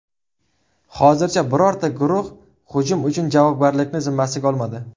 Hozircha birorta guruh hujum uchun javobgarlikni zimmasiga olmadi.